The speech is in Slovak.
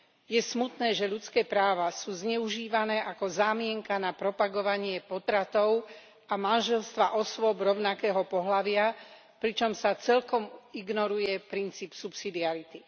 Je smutné, že ľudské práva sú zneužívané ako zámienka na propagovanie potratov a manželstva osôb rovnakého pohlavia, pričom sa celkom ignoruje princíp subsidiarity.